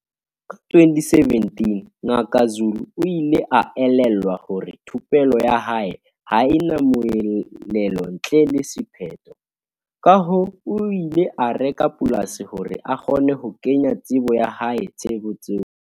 Ka 2017, Ngaka Zulu o ile a elellwa hore thupello ya hae ha e na moelelo ntle le sephetho, kahoo o ile a reka polasi hore a kgone ho kenya tsebo ya hae tshebetsong.